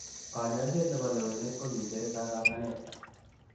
Konyoiset nebo lewenet ko kicher kakatanet.